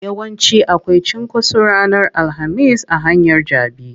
Yawanci akwai cunkoso ranar alhamis a hanyar jabi.